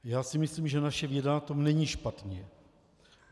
Já si myslím, že naše věda na tom není špatně.